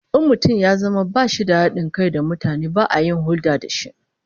In mutum ya zama bashi da hadin kai da mutane, ba a yin hulda da shi